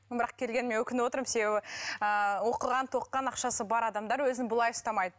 бірақ келгеніме өкініп отырмын себебі ыыы оқыған тоқыған ақшасы бар адамдар өзін бұлай ұстамайды